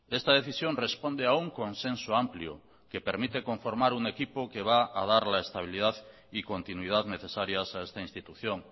esta decisión responde a un consenso amplio que permite conformar un equipo que va a dar la estabilidad y continuidad necesarias a esta institución